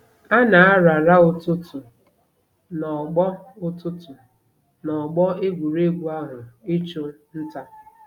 A na-arara ụtụtụ n'ọgbọ ụtụtụ n'ọgbọ egwuregwu ahụ ịchụ nta.